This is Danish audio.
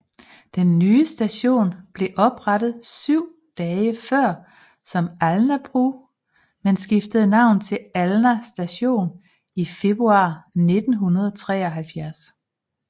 Den nye station blev oprettet syv dage før som Alnabru men skiftede navn til Alna Station i februar 1973